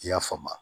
I y'a faamu